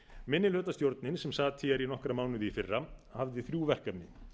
minnihlutastjórnin hún sat hér í nokkra mánuði í fyrra hafði þrjú verkefni